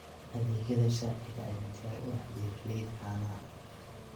Adeegyada sharciga ayaa diyaar u ah beeralayda caanaha.